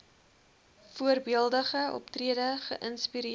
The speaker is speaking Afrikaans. voorbeeldige optrede geïnspireer